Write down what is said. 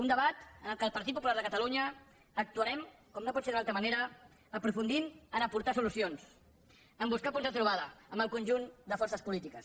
un debat en el qual el partit popular de catalunya actuarem com no pot ser d’una altra manera aprofundint a aportar solucions a buscar punts de trobada amb el conjunt de forces polítiques